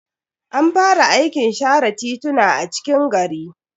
An fara aikin share tituna a cikin gari.